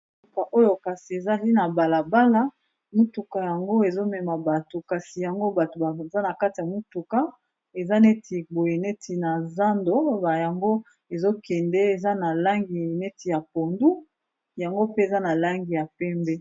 Motuka oyo kasi ezali na balabala, motuka yango ezomema bato kasi yango bato baza na kati ya motuka eza neti boye neti na zando ba yango ezokende eza na langi neti ya pondu yango pe eza na langi ya pembe.